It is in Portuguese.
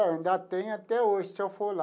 Ainda tem até hoje, se eu for lá.